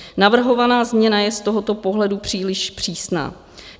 Navrhovaná změna je z tohoto pohledu příliš přísná.